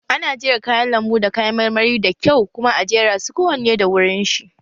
Ana jera kayan lambu da kayan marmari da kyau kuma a jera su kowane da wurin shi